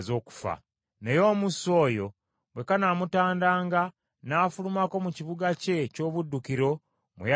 “ ‘Naye omussi oyo bwe kanaamutandanga n’afulumako mu kibuga kye eky’obuddukiro mwe yaddukira,